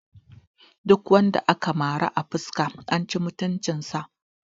Duk wanda aka mara a fuska an ci mutunci sa